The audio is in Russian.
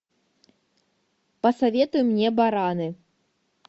посоветуй мне бараны